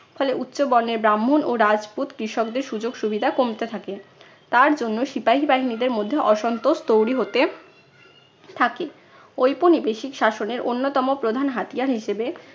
ফলে উচ্চ বর্ণের ব্রাহ্মণ ও রাজপুত কৃষকদের সুযোগ সুবিধা কমতে থাকে। তার জন্য সিপাহী বাহিনীর মধ্যে অসন্তোষ তৈরি হতে থাকে। ঔপনিবেশিক শাসনের অন্যতম প্রধান হাতিয়ার হিসেবে